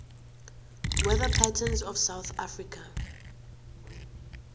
weather patterns of south africa